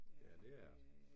Ja, det er det